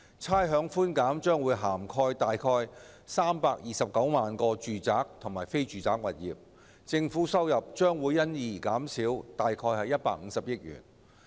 差餉寬減將涵蓋約329萬個住宅和非住宅物業，政府收入將因而減少約150億元。